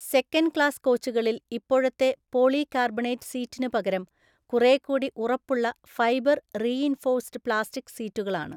Second class കോച്ചുകളില്‍ ഇപ്പോഴത്തെ polycarbonate സീറ്റിന് പകരം കുറേക്കൂടി ഉറപ്പുള്ള ഫൈബര്‍ റീഇന്‍ഫോഴ്സ്ഡ് പ്ലാസ്റ്റിക് സീറ്റുകളാണ്.